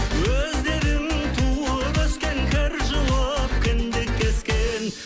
өздерің туып өскен кір жуып кіндік кескен